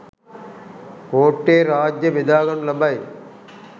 කෝට්ටේ රාජ්‍ය බෙදා ගනු ලබයි.